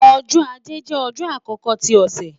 Ọjọ́-Ajé jẹ ọjọ akọkọ ti ọsẹ